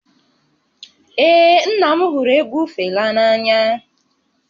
Ee, nna m hụrụ egwu Fela n'anya